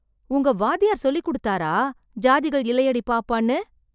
உங்க வாத்தியார் சொல்லிக் கொடுத்தாரா, "ஜாதிகள் இல்லையடி பாப்பா"ன்னு?